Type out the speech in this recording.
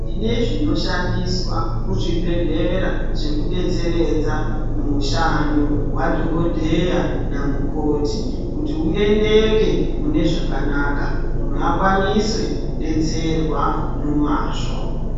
Tinezvinoshandiswa muzvibhehlera zvekudetseredza mushando wadhokoteya namukoti kuti uendeka munezvakanaka munhu akwanise kudetserwa nemazvo.